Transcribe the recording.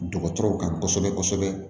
Dɔgɔtɔrɔw kan kosɛbɛ kosɛbɛ